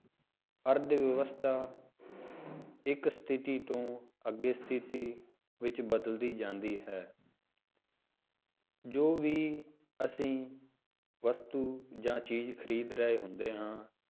ਅਰਥ ਵਿਵਸਥਾ ਇੱਕ ਸਥਿਤੀ ਤੋਂ ਅੱਗੇ ਸਥਿਤੀ ਵਿੱਚ ਬਦਲਦੀ ਜਾਂਦੀ ਹੈ ਜੋ ਵੀ ਅਸੀਂ ਵਸਤੂ ਜਾਂ ਚੀਜ਼ ਖ਼ਰੀਦ ਰਹੇ ਹੁੰਦੇ ਹਾਂ,